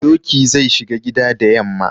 Doki zai shiga gida da yamma.